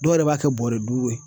Dɔw yɛrɛ b'a kɛ bɔrɛ duuru ye